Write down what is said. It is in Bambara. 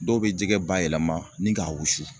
Dɔw bɛ jɛgɛ bayɛlɛma ni k'a wusu